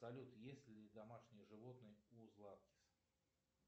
салют есть ли домашние животные у златкис